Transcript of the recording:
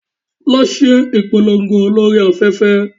Lọ ṣe ìpolongo lórí afẹ́fẹ́!